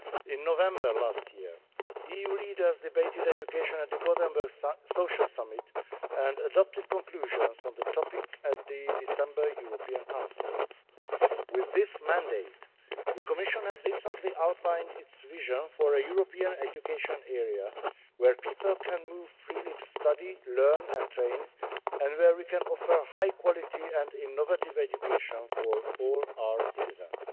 In November last year, EU leaders debated education at the Gothenburg Social Summit and adopted conclusions on the topic at the December European Council. With this mandate, the Commission has recently outlined its vision for a European education area where people can move freely to study, learn and train, and where we can offer high quality and innovative education for all our citizens.